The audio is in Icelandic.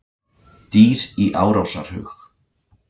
Dýr í árásarhug